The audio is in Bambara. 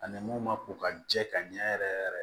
Ani mun ma ko ka jɛ ka ɲɛ yɛrɛ yɛrɛ